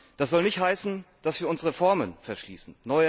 Das soll nicht heißen, dass wir uns Reformen verschließen.